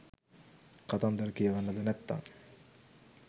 කතන්දර කියවන්නද නැත්තං